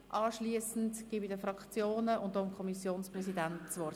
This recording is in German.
Anschliessend gebe ich den Fraktionen und dem Kommissionspräsidenten das Wort.